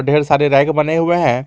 ढेर सारे रैक बने हुए हैं।